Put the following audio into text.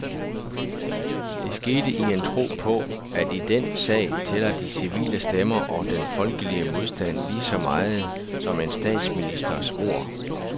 Det skete i en tro på, at i den sag tæller de civile stemmer og den folkelige modstand lige så meget som en statsministers ord.